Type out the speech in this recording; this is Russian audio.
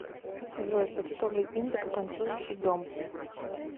джой почтовый индекс танцующий дом